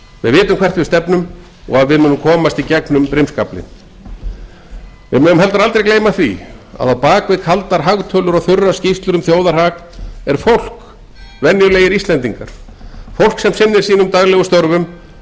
við vitum hvert við stefnum og að við munum komast í gegnum brimskaflinn við megum aldrei gleyma því að á bak við kaldar hagtölur og þurrar skýrslur um þjóðarhag er fólk venjulegir íslendingar fólk sem sinnir sínum daglegu störfum